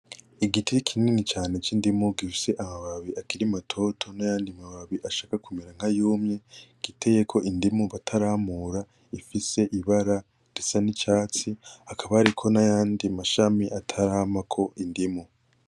Igiti kinini cane c'indimu gifise amababi akiri matoto n'ayandi mababi ashaka kumera nk'ayumye, giteyeko indimu bataramura ifise ibara risa n'icatsi, hakaba hariko n'ayandi mashami ataramako indimu.